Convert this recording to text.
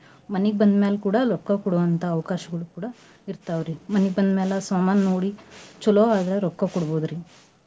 ಮನೀಗ್ ಬಂದ್ ಮ್ಯಾಲ್ ಕೂಡಾ ರೊಕ್ಕ ಕೊಡೋಂತ ಅವಕಾಶಗಳು ಕೂಡಾ ಇರ್ತಾವ್ ರಿ. ಮನೀಗ್ ಬಂದ್ ಮ್ಯಾಲೆ ಸಾಮಾನ್ ನೋಡಿ ಚಲೋ ಆದ್ರ ರೊಕ್ಕಾ ಕೊಡ್ಬೋದ್ರಿ.